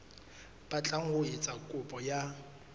batlang ho etsa kopo ya